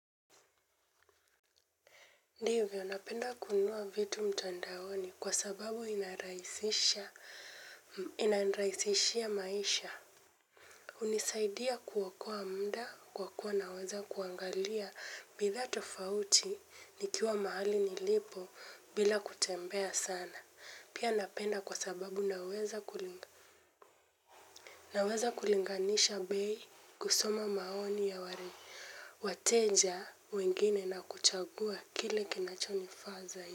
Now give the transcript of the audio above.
Ndivyo napenda kununua vitu mtandaoni kwa sababu inarahisishia ianirahisishia maisha. Hunisaidia kuokoa mda kwa kuwa naweza kuangalia bidhaa tofauti nikiwa mahali nilipo bila kutembea sana. Pia napenda kwa sababu naweza kulinganisha bei kusoma maoni ya wateja wengine na kuchagua kile kinacho nifaa zaidi.